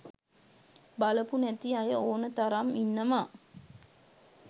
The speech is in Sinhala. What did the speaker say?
බලපු නැති අය ඕන තරම් ඉන්නවා.